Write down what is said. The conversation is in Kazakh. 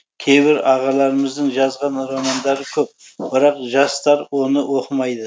кейбір ағаларымыздың жазған романдары көп бірақ жастар оны оқымайды